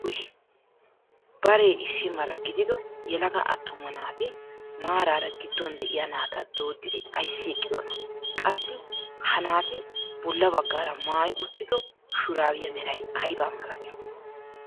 Baree issi mala gidido yelaga attuma naati maarara gidduwaan de'iyaa naata dooddidi ayssi eqqidonaa? qassi ha naati bolla baggara maayi uttido shuraabiyaa meray aybaa milatii?